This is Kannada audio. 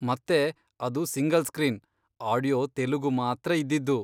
ಮತ್ತೆ ಅದು ಸಿಂಗಲ್ ಸ್ಕ್ರೀನ್, ಆಡಿಯೋ ತೆಲುಗು ಮಾತ್ರ ಇದ್ದಿದ್ದು.